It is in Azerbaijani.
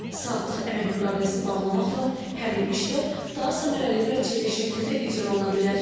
Saatlıq əmək müqaviləsi bağlamaqla həmin işlər daha səmərəli və çevik şəkildə icra oluna bilər.